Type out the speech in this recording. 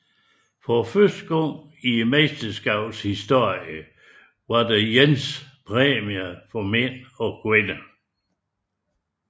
For første gang i mesterskabets historie var der ens præmier for mænd og kvinder